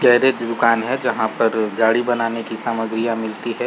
Garage दुकान है जहाँ पर गाड़ी बनाने की सामग्रियां मिलती हैं।